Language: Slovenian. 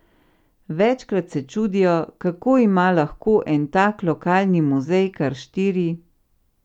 Večkrat se čudijo, kako ima lahko en tak lokalni muzej kar štiri ...